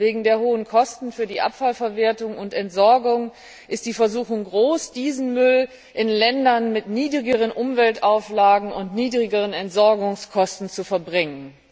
Wegen der hohen Kosten für die Abfallverwertung und Entsorgung ist die Versuchung groß, diesen Müll in Länder mit niedrigeren Umweltauflagen und niedrigeren Entsorgungskosten zu verbringen.